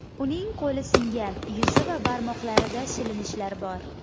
Uning qo‘li singan, yuzi va barmoqlarida shilinishlar bor.